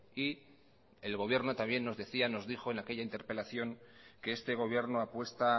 y el gobierno también nos decía nos dijo en aquella interpelación que este gobierno apuesta